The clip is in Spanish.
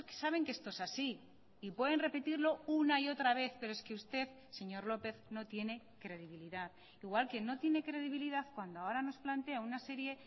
saben que esto es así y pueden repetirlo una y otra vez pero es que usted señor lópez no tiene credibilidad igual que no tiene credibilidad cuando ahora nos plantea una serie